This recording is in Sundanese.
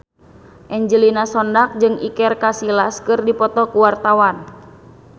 Angelina Sondakh jeung Iker Casillas keur dipoto ku wartawan